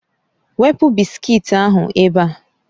Wepụ bisiki ahụ ebe a